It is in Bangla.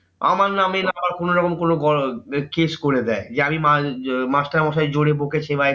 আমার না আমি না আমার আবার কোনোরকম কোনো বড় case করে দেয় যে আমি মাস্টারমশাই জোরে বকেছে বা